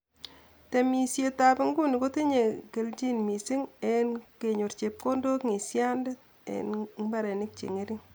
Temisietab inguni kotinye keljin missing eng kenyor chepkondok ngisiandet en mbarenik che mengech.